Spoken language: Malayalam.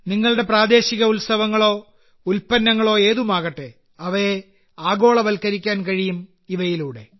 നിങ്ങളുടെ പ്രാദേശിക ഉത്സവങ്ങളോ ഉൽപ്പന്നങ്ങളോ ഏതുമാകട്ടെ അവയെ ആഗോളവൽക്കരിക്കാൻ കഴിയും ഇവയിലൂടെ